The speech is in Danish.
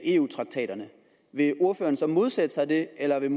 eu traktaterne vil ordføreren så modsætte sig det eller vil